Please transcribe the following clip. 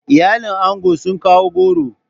Iyalin ango sun kawo goro.